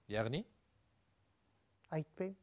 яғни айтпаймын